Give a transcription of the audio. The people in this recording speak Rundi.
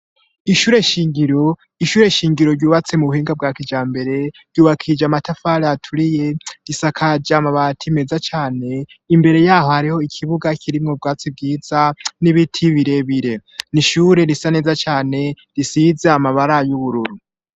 Ishure shingiro ryubatse mu buhinga bwa kijambere ryubakije amatafari aturiye, risakaje amabati meza cane, imbere yaho hariho ikibuga kirimwo ubwatsi bwiza n'ibiti birebire. N'ishure risa neza cane risize amabara y'ubururu.